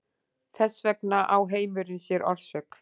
Þess vegna á heimurinn sér orsök.